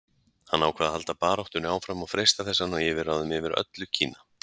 Hann ákvað að halda baráttunni áfram og freista þess að ná yfirráðum yfir öllu Kína.